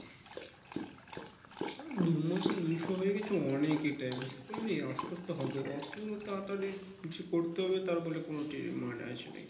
তোর দুই মাসে দুইশো হয়ে গেছে অনেক এটাই বুঝতে পারলি আস্তে আস্তে হবে অত তাড়াতাড়ি কিছু কিছু করতে হবে তার বলে